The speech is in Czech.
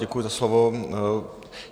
Děkuji za slovo.